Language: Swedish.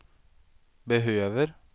behöver